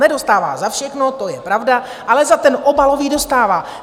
Nedostává za všechno, to je pravda, ale za ten obalový dostává.